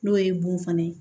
N'o ye bon fana ye